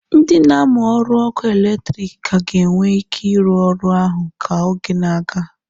Ndị na-amụ ọrụ ọkụ eletrik ka ga-enwe ike ịrụ ọrụ ahụ ka oge na-aga